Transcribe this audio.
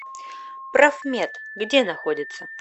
профмет где находится